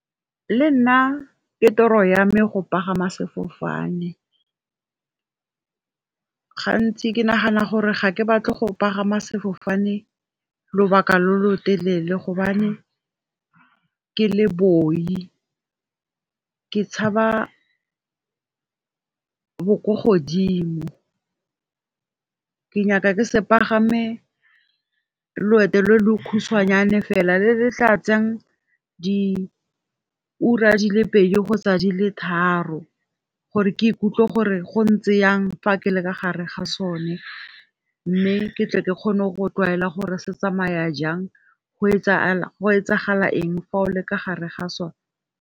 Le nna ke toro ya me go pagama sefofane, gantsi ke nagana gore ga ke batle go pagama sefofane lobaka lo lo telele gobane ke le booi, ke tshaba bo ko godimo. Ke nyaka ke se pagame loeto lo lo khutsanyane fela le tla tsayang di ura di le pedi kgotsa di le tharo. Gore ke ikutlwe gore go ntse jang fa ke le ka gare ga sone, mme ke tle ke kgone go tlwaela gore se tsamaya jang go etsagala eng fa o le ka fo gare ga sona.